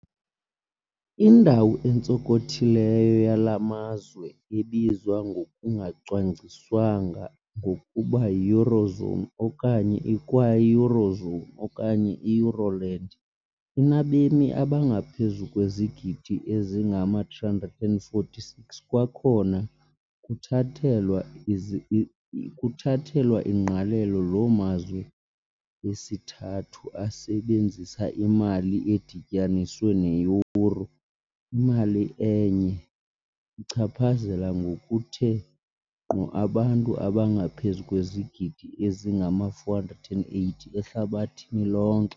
Indawo entsonkothileyo yala mazwe, ebizwa ngokungacwangciswanga ngokuba, yi-Eurozone, okanye, ikwayieurozone, okanye ieuroland, inabemi abangaphezu kwezigidi ezingama-346 - kwakhona kuthathelwa ingqalelo loo mazwe esithathu asebenzisa imali edityaniswe neyuro, imali enye ichaphazela ngokuthe ngqo abantu abangaphezu kwezigidi ezingama-480 ehlabathini lonke.